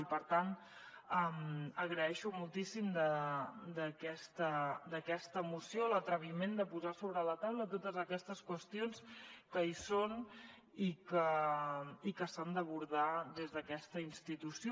i per tant agraeixo moltíssim d’aquesta moció l’atreviment de posar sobre la taula totes aquestes qüestions que hi són i que s’han d’abordar des d’aquesta institució